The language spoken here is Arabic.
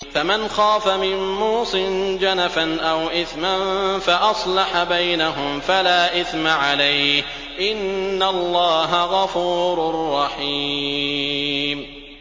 فَمَنْ خَافَ مِن مُّوصٍ جَنَفًا أَوْ إِثْمًا فَأَصْلَحَ بَيْنَهُمْ فَلَا إِثْمَ عَلَيْهِ ۚ إِنَّ اللَّهَ غَفُورٌ رَّحِيمٌ